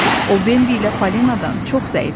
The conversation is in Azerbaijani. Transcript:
O, Bambi ilə Falenadan çox zəif idi.